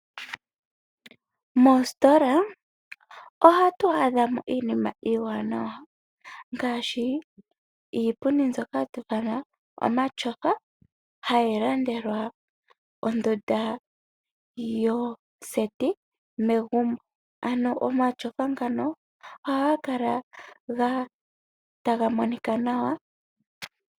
Moositola ohatu adha mo iinima iiwanawa ngaashi iipundi mbyoka hatu ithana omatyofa hayi landelwa ondunda yoseti megumbo, ano omatyofa ngano ohaga kala taga monika nawa.